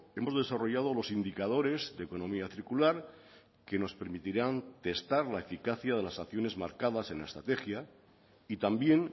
hemos desarrollado los indicadores de economía circular que nos permitirán testar la eficacia de las acciones marcadas en la estrategia y también